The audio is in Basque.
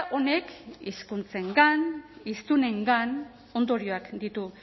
honek hizkuntzengan hiztunengan ondorioak ditu